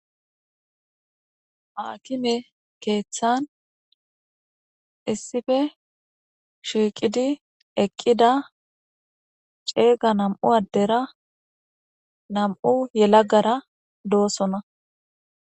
Haakime keeththan issife shiiqidi eqqida ceega nam7u addera nam7u yelagara doosona.